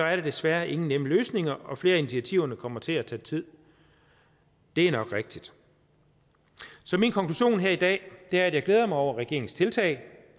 er der desværre ingen nemme løsninger og flere af initiativerne kommer til at tage tid det er nok rigtigt så min konklusion her i dag er at jeg glæder mig over regeringens tiltag